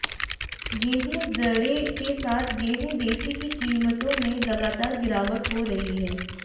गेहूं दड़े के साथ गेहूं देसी की कीमतों में लगातार गिरावट हो रही है